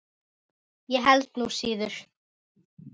Ég held nú slíður!